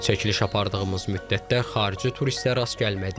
Çəkiliş apardığımız müddətdə xarici turistə rast gəlmədik.